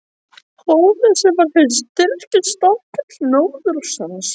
Honum, sem var hinn styrki stafkarl norðursins!